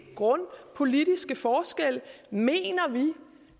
grundliggende politiske forskelle mener vi